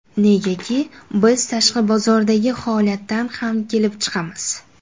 Negaki, biz tashqi bozordagi holatdan ham kelib chiqamiz.